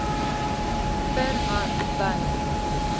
per hand by